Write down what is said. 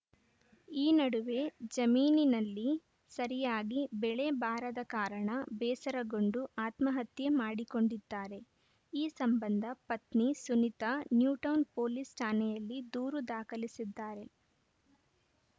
ಈ ನಡುವೆ ಜಮೀನಿನಲ್ಲಿ ಸರಿಯಾಗಿ ಬೆಳೆ ಬಾರದ ಕಾರಣ ಬೇಸರಗೊಂಡು ಆತ್ಮಹತ್ಯೆ ಮಾಡಿಕೊಂಡಿದ್ದಾನೆ ಈ ಸಂಬಂಧ ಪತ್ನಿ ಸುನಿತಾ ನ್ಯೂಟೌನ್‌ ಪೊಲೀಸ್‌ ಠಾಣೆಯಲ್ಲಿ ದೂರು ದಾಖಲಿಸಿದ್ದಾರೆ